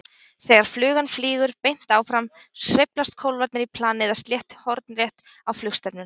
Þegar flugan flýgur beint áfram sveiflast kólfarnir í plani eða sléttu hornrétt á flugstefnuna.